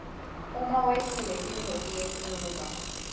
uma wehlile tintfo tiyenyuka